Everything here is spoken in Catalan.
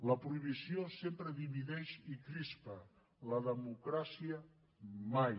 la prohibició sempre divideix i crispa la democràcia mai